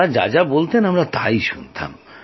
তাঁরা যা যা বলতেন আমরা শুনতাম